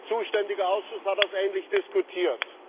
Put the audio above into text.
Der zuständige Ausschuss hat das ähnlich diskutiert.